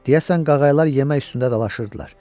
Deyəsən qağaylar yemək üstündə dalaşırdılar.